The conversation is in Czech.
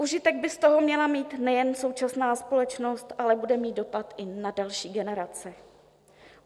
Užitek by z toho měla mít nejen současná společnost, ale bude mít dopad i na další generace.